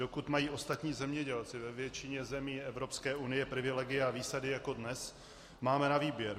Dokud mají ostatní zemědělci ve většině zemí Evropské unie privilegia a výsady jako dnes, máme na výběr.